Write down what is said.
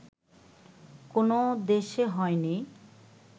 কোনো দেশে হয়নি